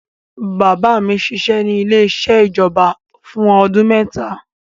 Bàbá mi ṣiṣẹ́ ní ilé-iṣẹ́ ìjọba fún ọdún mẹ́ta.